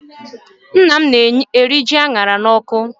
Nna m na-eri ji a ṅara n'ọkụ.